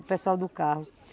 O pessoal do carro.